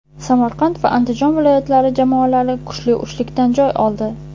Samarqand va Andijon viloyatlari jamoalari kuchli uchlikdan joy oldi.